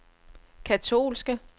katolske